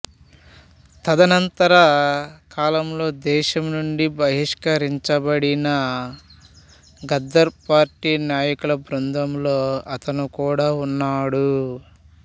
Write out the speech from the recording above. తదనంతర కాలంలో దేశం నుండి బహిష్కరించబడిన గదర్ పార్టీ నాయకుల బృందంలో అతను కూడా ఉన్నాడు